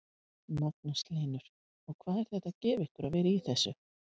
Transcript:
Magnús Hlynur: Og hvað er þetta að gefa ykkur að vera í þessu?